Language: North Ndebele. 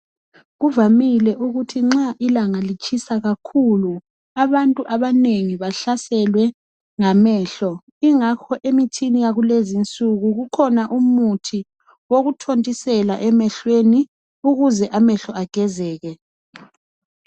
Kuvamile ukuthi nxa ilanga litshisa kakhulu abantu abanengi bahlaselwe ngamehlo ingakho yakulezinsuku kukhona umuthi wokuthontisela emehlweni ukuze amehlo agezeke.